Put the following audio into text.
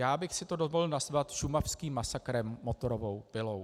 Já bych si to dovolil nazvat šumavským masakrem motorovou pilou.